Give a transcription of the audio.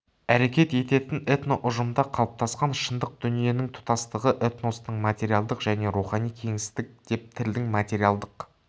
әрекет ететін этноұжымда қалыптасқан шындық дүниенің тұтастығы этностың материалдық және рухани кеңістігі деп тілдің материалдық